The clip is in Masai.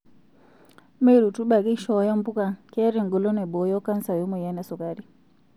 Mee rutuba ake eishooyo mbuka keta engolon naiboyo cancer wemoyian esukari.